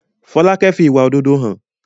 Folákẹ́ fi ìwà òdodo hàn